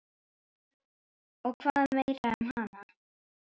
Og hvað meira um hana?